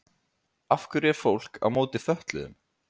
af hverju er fólk á móti fötluðum